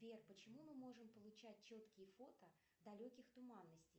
сбер почему мы можем получать четкие фото далеких туманностей